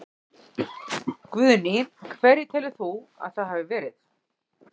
Guðný: Hverjir telur þú að það hafi verið?